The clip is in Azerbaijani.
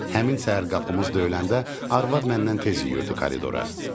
Həmin səhər qapımız döyüləndə arvad məndən tez yüyürdü koridora.